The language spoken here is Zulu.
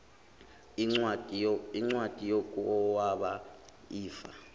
incwadi yokwaba ifa